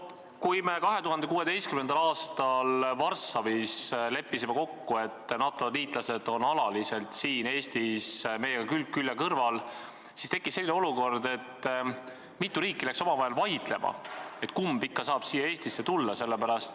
Kui me 2016. aastal leppisime Varssavis kokku, et NATO-liitlased on alaliselt siin Eestis meie kaitseväelastega külg külje kõrval, siis tekkis selline olukord, et mitu riiki läks omavahel vaidlema, et kes ikka saab siia Eestisse tulla.